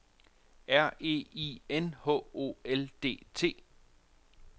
R E I N H O L D T